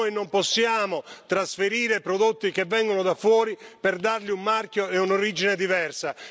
Noi non possiamo trasferire prodotti che vengono da fuori per dargli un marchio e un'origine diversa.